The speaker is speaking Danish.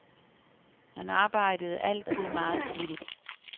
Han arbejdede altid meget flittigt.